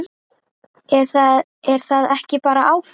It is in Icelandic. Er það ekki bara ágætt?